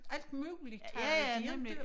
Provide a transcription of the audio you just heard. Alt muligt havde de inte